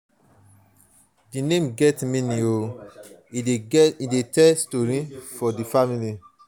di name get meaning e dey tell story about di family.